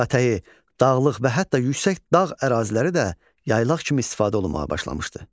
Dağətəyi, dağlıq və hətta yüksək dağ əraziləri də yaylaq kimi istifadə olunmağa başlamışdı.